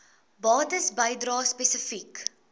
bates bedrae spesifiek